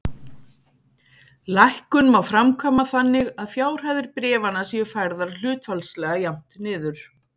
Lækkun má framkvæma þannig að fjárhæðir bréfanna séu færðar hlutfallslega jafnt niður.